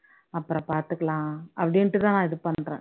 அப்பறம் பாத்துக்கலாம் அப்படின்னுட்டு தான் நான் இது பண்றேன்